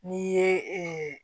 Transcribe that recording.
N'i ye